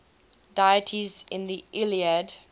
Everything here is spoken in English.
deities in the iliad